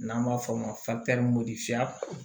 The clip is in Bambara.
N'an b'a f'o ma modifiya